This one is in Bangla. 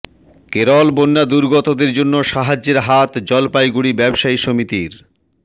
কেরল বন্যা দুর্গতদের জন্য সাহায্যের হাত জলপাইগুড়ি ব্যবসায়ী সমিতির